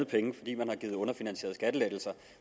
penge fordi man har givet underfinansierede skattelettelser